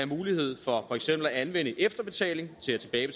mulighed for for eksempel at anvende efterbetalingen